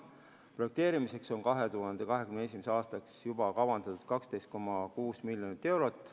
Projekteerimiseks on 2021. aastaks juba kavandatud 12,6 miljonit eurot.